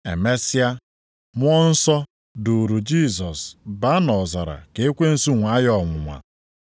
Emesịa, Mmụọ Nsọ duuru Jisọs baa nʼọzara ka ekwensu nwaa ya ọnwụnwa.